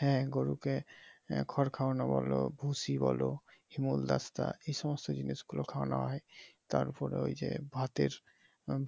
হ্যাঁ গরুকে খড় খাওয়ানো বলো ভুসি বলো হিমুল দাস্তা এইসমস্ত জিনিসগুলো খাওয়ানো হয় তারপরে ওইযে ভাতের